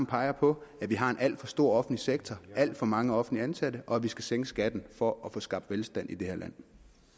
peger på at vi har en alt for stor offentlig sektor med alt for mange offentligt ansatte og at vi skal sænke skatten for at få skabt velstand i det her land